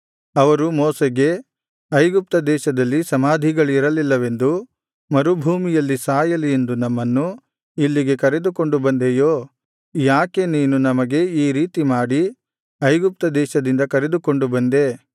ಅವರು ಮೋಶೆಗೆ ಐಗುಪ್ತ ದೇಶದಲ್ಲಿ ಸಮಾಧಿಗಳಿರಲಿಲ್ಲವೆಂದು ಮರುಭೂಮಿಯಲ್ಲಿ ಸಾಯಲಿ ಎಂದು ನಮ್ಮನ್ನು ಇಲ್ಲಿಗೆ ಕರೆದುಕೊಂಡು ಬಂದೆಯೋ ಯಾಕೆ ನೀನು ನಮಗೆ ಈ ರೀತಿಮಾಡಿ ಐಗುಪ್ತ ದೇಶದಿಂದ ಕರೆದುಕೊಂಡು ಬಂದೆ